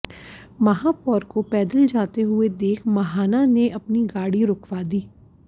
महापौर को पैदल जाते हुए देख महाना ने अपनी गाड़ी रूकवा दी